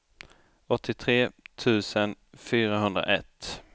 åttiotre tusen fyrahundraett